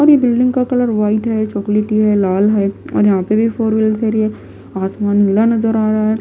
और ये बिल्डिंग का कलर वाइट है चॉकलेटी है लाल हैऔर यहां पे भी फोर व्हीलर ठहरी है आसमान नीला नजर आ रहा है।